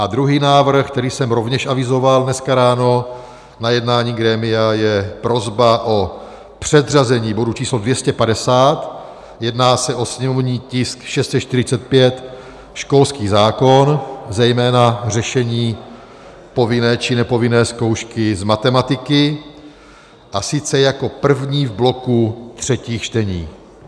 A druhý návrh, který jsem rovněž avizoval dneska ráno na jednání grémia, je prosba o předřazení bodu číslo 250, jedná se o sněmovní tisk 645, školský zákon, zejména řešení povinné či nepovinné zkoušky z matematiky, a sice jako první v bloku třetích čtení.